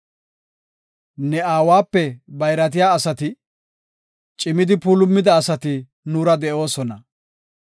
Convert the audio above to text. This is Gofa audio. Ne aawape bayratiya asati, cimidi puulumida asati nuura de7oosona.